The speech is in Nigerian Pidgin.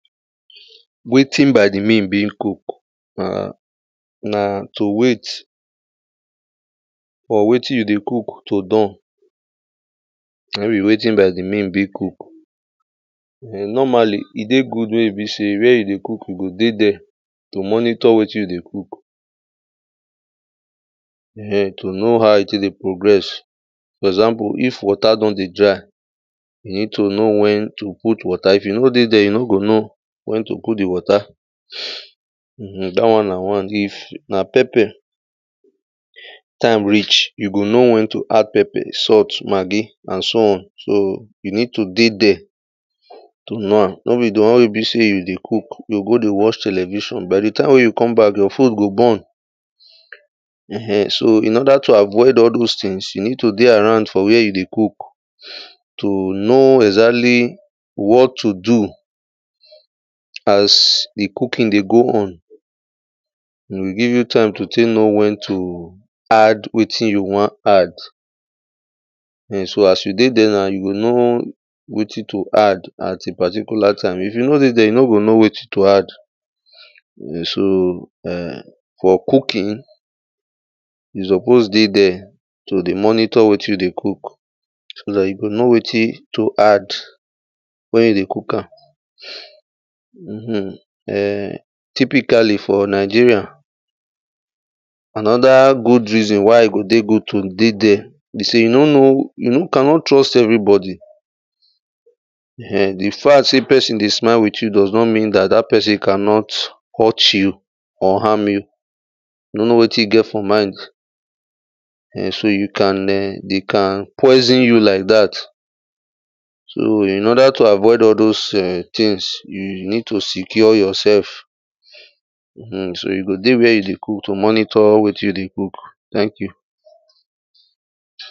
Waiting by the meal being cook, um na to wait for wetin you dey cook to don, na im be waiting by the meal being cook. um normally, e dey good when e be sey where you dey cook, you go dey there, to monitor wetin you dey cook. um, to know how e take dey progress, for example if water don dey dry, you need you know when to put water. If you nor dey there you nor go know, when to put the water. um that one na one, if na pepper, time reach you go know when to add pepper, salt, maggi, and so on. So you need to dey there, to know am. Nor be the one wey e be sey you dey cook, you go dey watch television, by the time wey you come back, your food go burn. um, so in order to avoid all those things, you need to dey around for where you dey cook, to know exactly what to do as the cooking dey go on. E go give you time to take know when to add wetin you wan add um so as you dey there now you go know, wetin to add at a particular time, if you nor dey there, you nor go know wetin to add. um so um for cooking, you suppose dey there, to dey monitor wetin you dey cook, so that you go know wetin to add, when you dey cook am. um, typically for Nigeria, another good reason why e go dey good to dey there, be sey you nor know, you cannot trust every body., the fact sey person dey smile with you does not not mean that that person cannot hurt you or harm you. You nor know wetin e get for mind. um so you can um they can poison you like that. So in order to avoid all those um things you you need to secure yourself. um so you go dey where you dey cook to monitor wetin you dey cook. Thank you